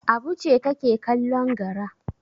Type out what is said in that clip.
Abu ce take kallon gara.